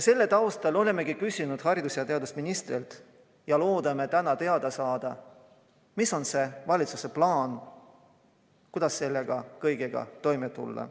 Selle taustal olemegi esitanud küsimused haridus- ja teadusministrile ja loodame täna teada saada, milline on valitsuse plaan, kuidas selle kõigega toime tulla.